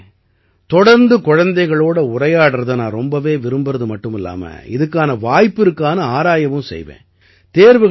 கௌரவ் அவர்களே தொடர்ந்து குழந்தைகளோட உரையாடறதை நான் ரொம்பவே விரும்பறது மட்டுமில்லாம இதுக்கான வாய்ப்பு இருக்கான்னு ஆராயவும் செய்வேன்